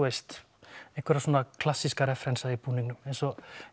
veist einhverja svona klassíska refrensa í búningnum eins og